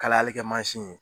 Kalalikɛ mansin ye